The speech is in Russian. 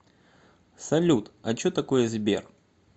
салют а че такое сбер